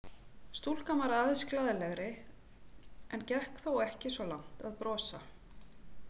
Stúlkan var aðeins glaðlegri en gekk þó ekki svo langt að brosa.